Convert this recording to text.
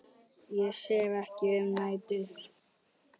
Ég sef ekki um nætur.